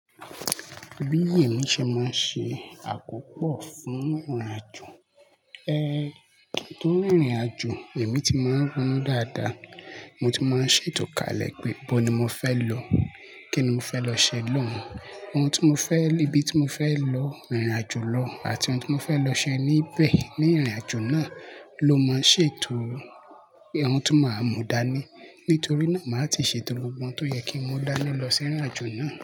Bí èmi ṣe máa ń ṣe àkópọ̀ fún ìrìnàjò. Ẹ́, ohun tó ń rìnrìnàjò èmi ti máa ń rònú dáadáa. Mo ti máa ń ṣètò kalẹ̀ pé bó ni mo fẹ́ lọ, kí ni mo fẹ́ lọ ṣe lóhun, ohun tí mo fẹ́, ibi tí mo fẹ́ lọ ìrìnàjò lọ àti ohun tí mo fẹ́ lọ ṣe níbẹ̀ ní ìrìnàjò náà ló máa ń ṣètò, ohun tí máa mú dání. Nítorí náà, màá ti ṣètò gbogbo tó yẹ kí n mú dání lọ sí ìrìnàjò náà.